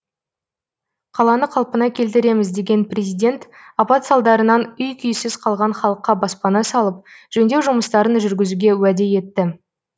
қаланы қалпына келтіреміз деген президент апат салдарынан үй күйсіз қалған халыққа баспана салып жөндеу жұмыстарын жүргізуге уәде етті